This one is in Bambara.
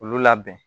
Olu labɛn